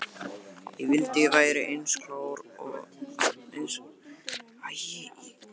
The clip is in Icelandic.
Ég vildi að ég væri eins klár í ensku og þú.